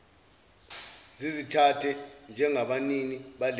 zizithathe njengabanini balezo